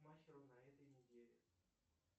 махиру на этой неделе